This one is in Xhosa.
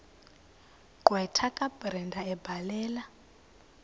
gqwetha kabrenda ebhalela